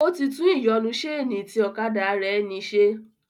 Ó ti tún ìyọnu sénì tí ọ̀kadà rẹ̀ ní se